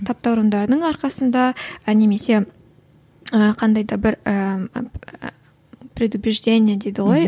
таптауырындарының арқасында немесе ыыы қандай да бір ііі предупреждение дейді ғой